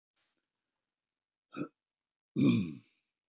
Engin lækning er þó til við þessu og því til lítils að álasa fólki.